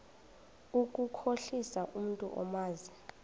ukukhohlisa umntu omazi